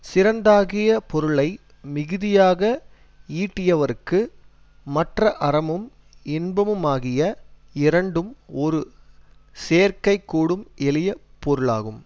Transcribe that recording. சிறந்ததாகிய பொருளை மிகுதியாக ஈட்டியவர்க்கு மற்ற அறமும் இன்பமுமாகிய இரண்டும் ஒரு சேரக்கைகூடும் எளிய பொருளாகும்